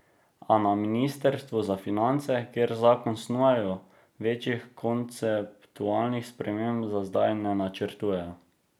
A na ministrstvu za finance, kjer zakon snujejo, večjih konceptualnih sprememb za zdaj ne načrtujejo.